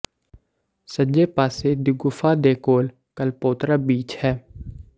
ਸੱਜੇ ਪਾਸੇ ਦੀ ਗੁਫਾ ਦੇ ਕੋਲ ਕਲਪੋਤਰਾ ਬੀਚ ਹੈ